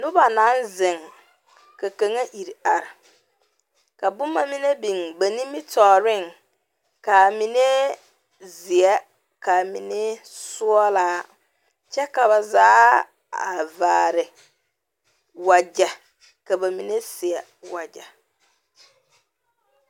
Noba naŋ zeŋ Ka kaŋa iri are ka boma mine biŋ ba nimitɔɔreŋ ka a mine zeɛ ka a mine sɔglaa kyɛ ka ba zaa a vaare wagyɛ ka ba mine seɛ wagyɛ.